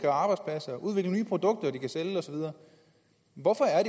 arbejdspladser udvikle nye produkter de kan sælge og så videre hvorfor er